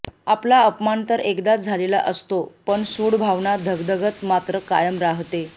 आपला अपमान तर एकदाच झालेला असतो पण सूडभावना धगधगत मात्र कायम राहते